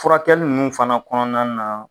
Furakɛli nunnu fana kɔnɔna na